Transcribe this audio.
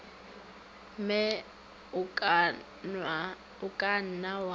mme o ka nna wa